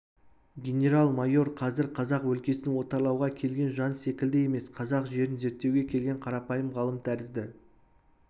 генерал-майор қазір қазақ өлкесін отарлауға келген жан секілді емес қазақ жерін зерттеуге келген қарапайым ғалым тәрізді